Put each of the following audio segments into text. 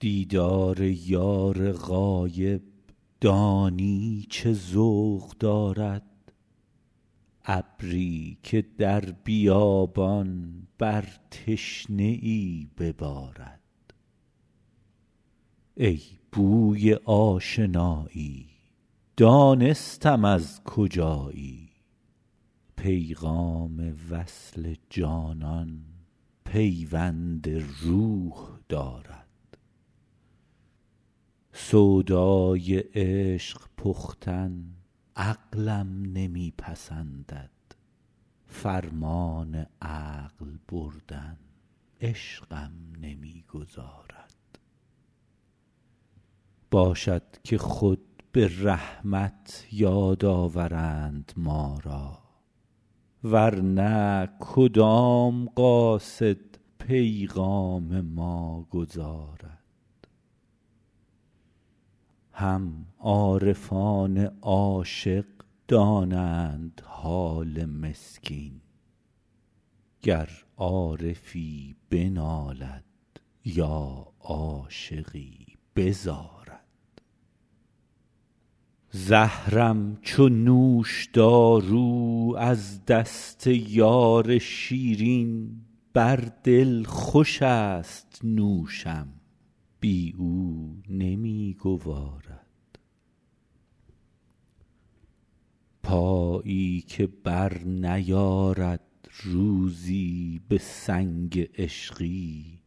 دیدار یار غایب دانی چه ذوق دارد ابری که در بیابان بر تشنه ای ببارد ای بوی آشنایی دانستم از کجایی پیغام وصل جانان پیوند روح دارد سودای عشق پختن عقلم نمی پسندد فرمان عقل بردن عشقم نمی گذارد باشد که خود به رحمت یاد آورند ما را ور نه کدام قاصد پیغام ما گزارد هم عارفان عاشق دانند حال مسکین گر عارفی بنالد یا عاشقی بزارد زهرم چو نوشدارو از دست یار شیرین بر دل خوشست نوشم بی او نمی گوارد پایی که برنیارد روزی به سنگ عشقی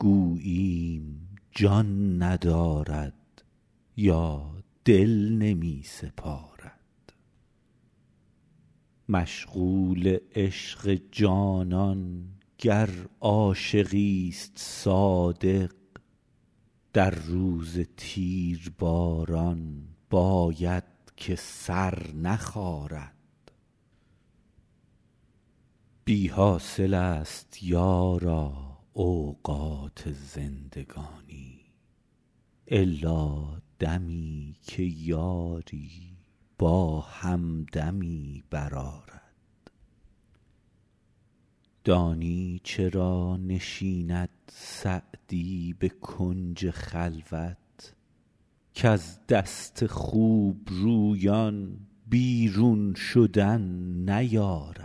گوییم جان ندارد یا دل نمی سپارد مشغول عشق جانان گر عاشقیست صادق در روز تیرباران باید که سر نخارد بی حاصلست یارا اوقات زندگانی الا دمی که یاری با همدمی برآرد دانی چرا نشیند سعدی به کنج خلوت کز دست خوبرویان بیرون شدن نیارد